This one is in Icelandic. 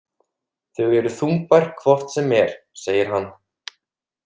Þau eru þungbær hvort sem er, segir hann.